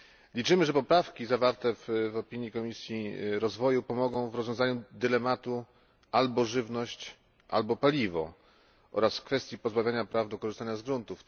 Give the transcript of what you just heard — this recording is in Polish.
Liczymy, że poprawki zawarte w opinii Komisji Rozwoju pomogą w rozwiązaniu dylematu albo żywność, albo paliwo oraz w kwestii pozbawienia praw do korzystania z gruntu.